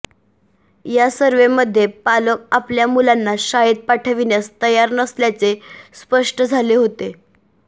या सव्र्हेमध्ये पालक आपल्या मुलांना शाळेत पाठविण्यास तयार नसल्याचे स्पष्ट झाले होते